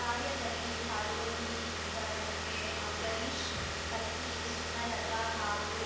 ಕಾರ್ಯದಲ್ಲಿ ಪಾಲ್ಗೊಂಡಿದ್ದವರಿಗೆ ಅಂಬರೀಷ್‌ ಪತ್ನಿ ಸುಮಲತಾ ಹಾಗೂ